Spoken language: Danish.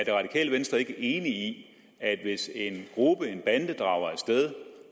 det radikale venstre ikke enig at hvis en gruppe en bande drager af sted